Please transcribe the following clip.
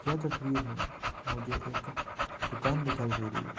यह तस्वीर में मुझे एक दुकान दिखाई दे रही है।